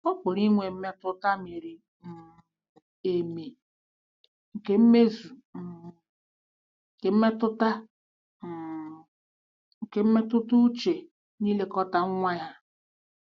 Ọ pụrụ inwe mmetụta miri um emi nke mmezu um nke mmetụta um nke mmetụta uche n'ilekọta nwa ya.